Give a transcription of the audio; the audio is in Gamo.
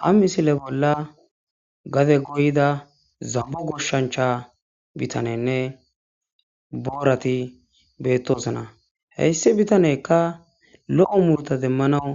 Ha misile bolla gade goyiza zambo goshancha bitaneynne boorati beetosona he issi bitaneyka lo'o muruta demanaw